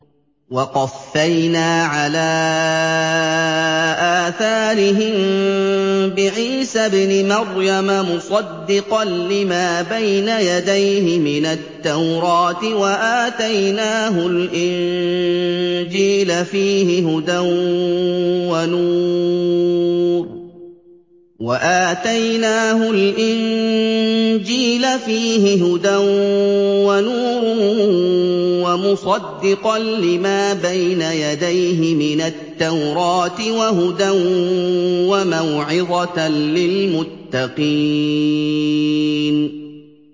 وَقَفَّيْنَا عَلَىٰ آثَارِهِم بِعِيسَى ابْنِ مَرْيَمَ مُصَدِّقًا لِّمَا بَيْنَ يَدَيْهِ مِنَ التَّوْرَاةِ ۖ وَآتَيْنَاهُ الْإِنجِيلَ فِيهِ هُدًى وَنُورٌ وَمُصَدِّقًا لِّمَا بَيْنَ يَدَيْهِ مِنَ التَّوْرَاةِ وَهُدًى وَمَوْعِظَةً لِّلْمُتَّقِينَ